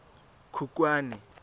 khukhwane